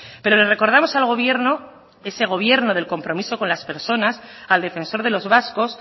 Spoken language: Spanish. pero le recordamos al gobierno ese gobierno del compromiso con las personas al defensor de los vascos